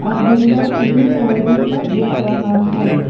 और बिल्डर भी वहीं पर देख रहा है।